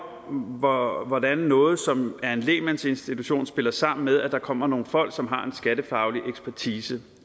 om hvordan noget som er en lægmandsinstitution spiller sammen med at der kommer nogle folk som har en skattefaglig ekspertise